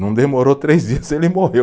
Não demorou três dias, ele morreu.